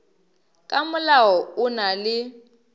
ka molao o na le